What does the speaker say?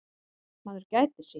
Maður gætir sín.